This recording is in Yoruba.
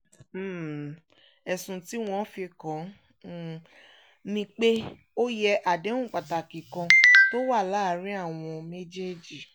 um ẹ̀sùn tí wọ́n fi kàn án um ni pé ó yẹ àdéhùn pàtàkì kan tó wà láàrin àwọn méjèèjì